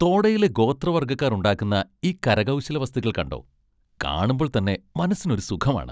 തോഡയിലെ ഗോത്രവർഗ്ഗക്കാർ ഉണ്ടാക്കുന്ന ഈ കരകൗശല വസ്തുക്കൾ കണ്ടോ? കാണുമ്പോൾ തന്നെ മനസ്സിനൊരു സുഖം ആണ്.